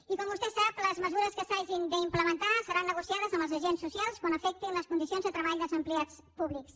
i com vostè sap les mesures que s’hagin d’implementar seran negociades amb els agents socials quan afectin les condicions de treball dels empleats públics